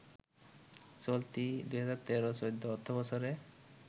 চলতি ২০১৩-১৪ অর্থবছরে